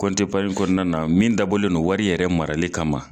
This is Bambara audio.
na min dabɔlen wari yɛrɛ marali kama.